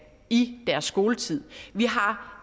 i deres skoletid vi har